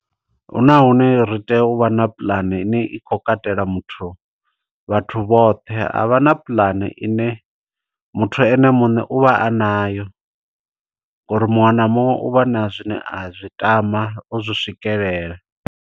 Huna hune ri tea uvha na puḽane ine i kho katela muthu, vhathu vhoṱhe. Ha vha na puḽane ine muthu ene muṋe u vha a nayo, ngo uri muṅwe na muṅwe u vha na zwine a zwi tama u zwi swikelela.